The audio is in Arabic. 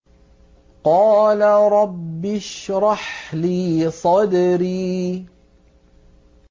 قَالَ رَبِّ اشْرَحْ لِي صَدْرِي